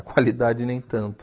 A qualidade nem tanto.